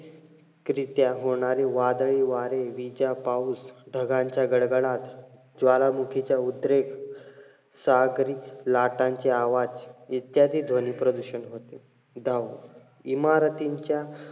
करित्या होणारी वादळी वारे, विजा, पाऊस, ढगांचा गडगडाट, ज्वालामुखीचा उद्रेक, सागरी लाटांचे आवाज इत्यादी ध्वनी प्रदूषण करतात. दहावं, इमारतींच्या,